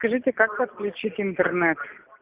скажите как подключить интернет